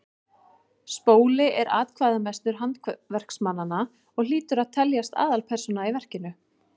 spóli er atkvæðamestur handverksmannanna og hlýtur að teljast aðalpersóna í verkinu